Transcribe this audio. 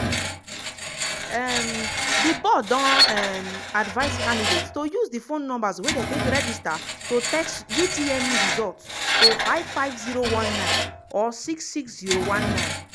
um di board don um advise candidates to use di phone numbers wey dem take register to text utmeresult to 55019/66019.